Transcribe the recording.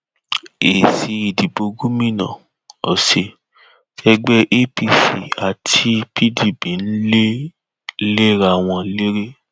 ìgbẹjọ oyetola kóòtù gba èrò ìdìbò àti ìwéẹrí àwọn iléèwé tí adeleke lò gẹgẹ bíi ẹrí